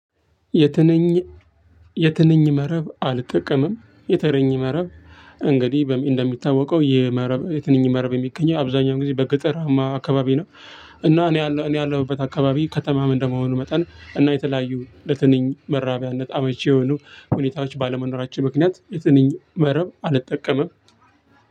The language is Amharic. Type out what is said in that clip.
የትንኝ የትንኝ መረብ አልጠቀምም የትንኝ መረብ እንግዲህ እንደሚታወቀው ይህ መረብ የትንኝ መረብ የሚገኘው አብዛኛው ጊዜ በገጠራማ አካባቢ ነው። እና እኔ ያለሁበት አካባቢ ከተማም እንደመሆኑ መጠን እና የተለያዩ ለትንኝ መራቢያነት አመቺ የሆኑ ሁኔታዎች ባለመኖራቸው ምክንያት የትንኝ መረብ አልጠቀመም።